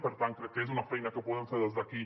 per tant crec que és una feina que podem fer des d’aquí